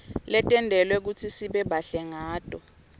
tentelwe kutsi sibe bahle ngato